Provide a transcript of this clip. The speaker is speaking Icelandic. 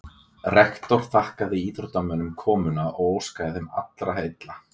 Rektor þakkaði íþróttamönnum komuna og óskaði þeim allra heilla.